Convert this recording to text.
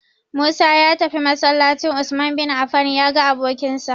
Musa ya tafi masallacin "Usman bin Affan" ya ga abokinsa.